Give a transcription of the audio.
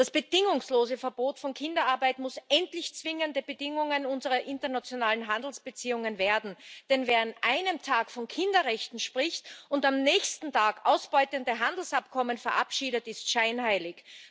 Das bedingungslose Verbot von Kinderarbeit muss endlich zwingende Bedingung unserer internationalen Handelsbeziehungen werden, denn wer an einem Tag von Kinderrechten spricht und am nächsten Tag ausbeutende Handelsabkommen verabschiedet, ist scheinheilig.